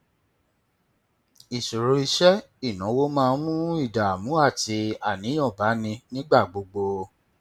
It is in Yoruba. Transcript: ìṣòro iṣẹ ìnáwó máa ń mú ìdààmú àti àníyàn bá ni nígbà gbogbo